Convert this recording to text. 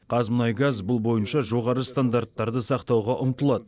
қазмұнайгаз бұл бойынша жоғары стандарттарды сақтауға ұмтылады